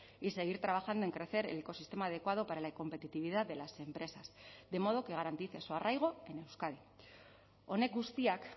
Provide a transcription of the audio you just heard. y seguir trabajando en crecer el ecosistema adecuado para la competitividad de las empresas de modo que garantice su arraigo en euskadi honek guztiak